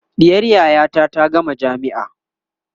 ɗiyar yayata ta gama jamia